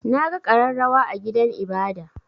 Na ga ƙararrawa a gidan ibada.